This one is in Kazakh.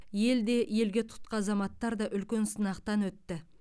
ел де елге тұтқа азаматтар да үлкен сынақтан өтті